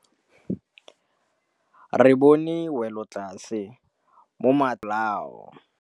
Re bone wêlôtlasê mo mataraseng a bolaô.